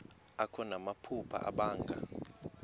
akho namaphupha abanga